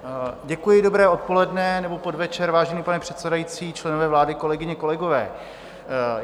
Děkuji, dobré odpoledne nebo podvečer, vážený pane předsedající, členové vlády, kolegyně, kolegové.